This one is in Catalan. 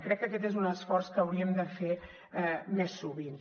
crec que aquest és un esforç que hauríem de fer més sovint